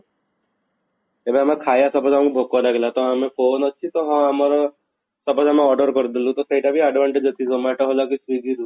ଏବେ ଆମେ ଖାଇବା suppose ଆମକୁ ଭୋକ ଲାଗିଲା ତ ଆମେ phone ଅଛି ତ ହଁ ଆମର suppose ଆମେ order କରିଦେଲୁ ତ ସେଇଟା ବି advantage ଅଛି zomato ହେଲା କି swiggy ରୁ